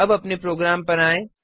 अब अपने प्रोग्राम पर आएँ